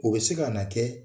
O be se ka na kɛ